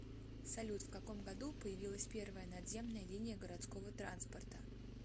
салют в каком году появилась первая надземная линия городского транспорта